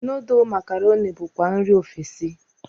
Nudul makaroni bukwa nri ofesi.